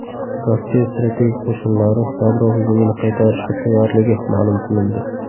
Rossiya strategik qo‘shinlari yadro hujumini qaytarishga tayyorligi ma’lum qilindi.